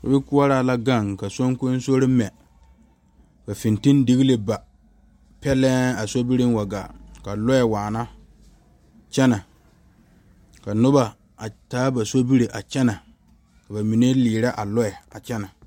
Sobikoɔraa la gaŋ ka soŋkoso mɛ fiŋtilee ba pegle wa gaa lɔɛ waana kyɛne ka noba a taa ba sobiri a kyɛne ka bamine leri a lɔɛ kyɛne.